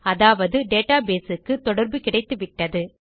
அதாவது டேட்டாபேஸ் க்கு தொடர்பு கிடைத்துவிட்டது